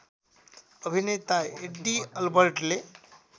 अभिनेता एड्डी अलबर्टले